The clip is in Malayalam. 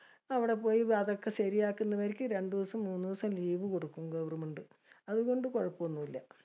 അവടെ പോയി അതൊക്കെ ശെരിയാക്കുന്നവരിക്കും രണ്ടൂസം മൂന്നൂസം leave കൊടുക്കും Government. അതുകൊണ്ട് കുഴപ്പോം ഒന്നല്ല.